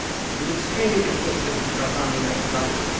He was extremely interested in our farming methodology.